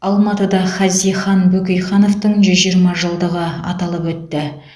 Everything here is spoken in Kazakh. алматыда хазихан бөкейхановтың жүз жиырма жылдығы аталып өтті